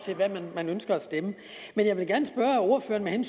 ved hvad man ønsker at stemme men jeg vil gerne spørge ordføreren